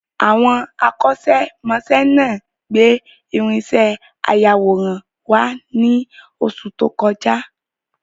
Àwọn akọ́ṣẹ́ mọṣẹ́ náà gbé irinṣẹ́ ayàwòrán wá ní oṣù tí o kọjá